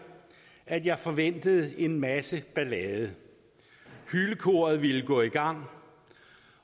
at jeg forventede en masse ballade hylekoret ville gå i gang